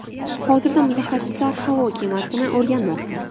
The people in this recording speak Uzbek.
Hozirda mutaxassislar havo kemasini o‘rganmoqda.